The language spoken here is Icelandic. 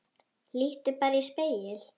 Líttu bara í spegil.